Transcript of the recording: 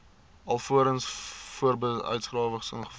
alvorens voorbedryfsuitgawes ingevolge